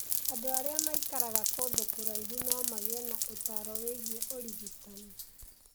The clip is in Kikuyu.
Andũ arĩa maikaraga kũndũ kũraihu no magĩe na ũtaaro wĩgiĩ ũrigitani